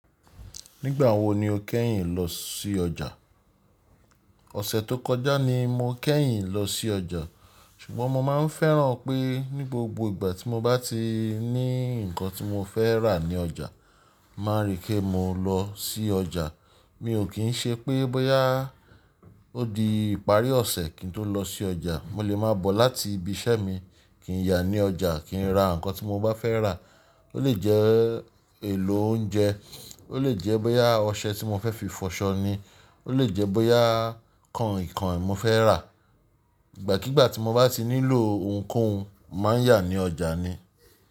Nígbà wo ni o kẹ́yìn lọ sí ọjà? Òṣè tó kọjá ni mo kẹ́yìn lọ sí ọjà, ṣùgbọ́n mo máa ń fẹ́ràn pé ní gbogbo ìgbà tí mo bá ti ní ǹkan tí mo fẹ́ rà ní ọjà, má ri kí mo lọ sí ọjà. Mi ò kí ń ṣe pé bọ́yá ó di ìparí ọ̀ṣẹ̀ kí n tó lọ sí ọjà. Mo lè máa bọ̀ láti ibi iṣẹ́ mi kí n yà ní ọjà, kí n ra ǹkan tí mo bá fẹ́ rà. Ó lè jẹ́ èlò oúnjẹ, ó lè jẹ́ bóyá ọṣẹ tí mo fẹ́ fi fọṣọ ni, ó lè jẹ́ bóyá kainkain mo fẹ́ rà. Ìgbà kigbà tí mo bá ti nílò ohunkóhun, màá yà ní ọjà ni.